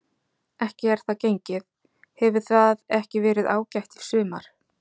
Ekki er það gengið, hefur það ekki verið ágætt í sumar?